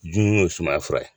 Jun ye sumaya fura ye.